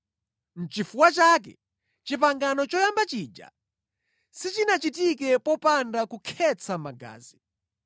Nʼchifukwa chake pangano loyamba lija silinachitike popanda kukhetsa magazi.